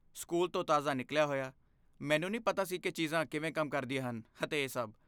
School ਤੋਂ ਤਾਜ਼ਾ ਨਿਕਲਿਆ ਹੋਇਆ, ਮੈਨੂੰ ਨਹੀਂ ਪਤਾ ਸੀ ਕੀ ਚੀਜ਼ਾਂ ਕਿਵੇਂ ਕੰਮ ਕਰਦੀਆਂ ਹਨ ਅਤੇ ਇਹ ਸਭ।